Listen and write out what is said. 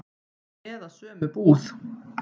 Eða sömu búð.